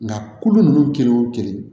Nka kolo ninnu kelen o kelen